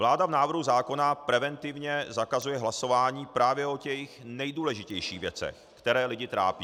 Vláda v návrhu zákona preventivně zakazuje hlasování právě o těch nejdůležitějších věcech, které lidi trápí.